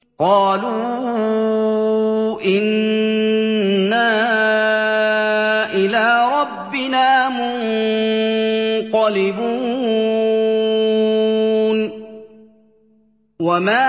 قَالُوا إِنَّا إِلَىٰ رَبِّنَا مُنقَلِبُونَ